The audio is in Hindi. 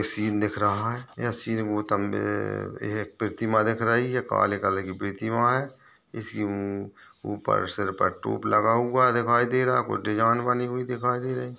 सिन दिख रहा है यह सिन बहोत लंबे एक प्रतिमा दिख रही है काले कलर की प्रतिमा है इसकी ऊपर सिर पर टोप लगा हुआ दिखाई दे रहा कुछ डिज़ाइन बनी हुई दिखाई दे रहीं।